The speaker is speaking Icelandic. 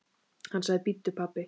Hún sagði: Bíddu pabbi.